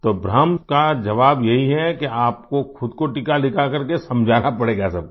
तो भ्रम का जवाब यही है कि आपको ख़ुद को टीका लगा कर के समझाना पड़ेगा सबको